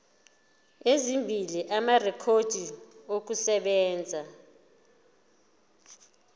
ezimbili amarekhodi okusebenza